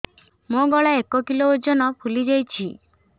ମୋ ଗଳା ଏକ କିଲୋ ଓଜନ ଫୁଲି ଯାଉଛି